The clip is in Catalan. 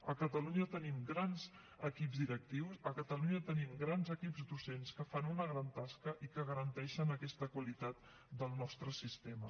a catalunya tenim grans equips directius a catalunya tenim grans equips docents que fan una gran tasca i que garanteixen aquesta qualitat del nostre sistema